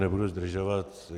Nebudu zdržovat.